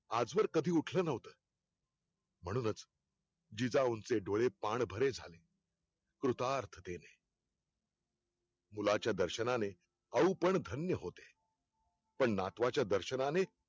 आजवर कधी उठल नव्हत. म्हणूनच, जिजाऊंचे डोळे पाणभरे झाले. कृतार्थतेणे मुलाच्या दर्शनाने आऊपण धन्य होते. पण नातवाच्या दर्शनाने